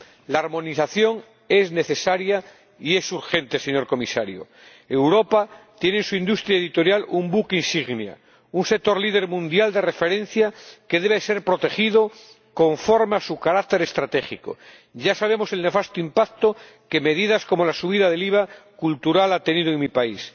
La armonización es necesaria y es urgente, señor Comisario. Europa tiene en su industria editorial un buque insignia, un sector líder mundial de referencia que debe ser protegido conforme a su carácter estratégico. Ya conocemos el nefasto impacto que medidas como la subida del IVA cultural han tenido en mi país.